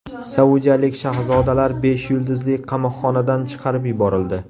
Saudiyalik shahzodalar besh yulduzli qamoqxonadan chiqarib yuborildi.